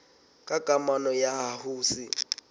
ka kamano ya ho se